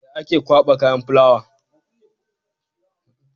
Ya ake kwaba kayan fulawa?